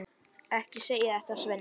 Ekki segja þetta, Svenni.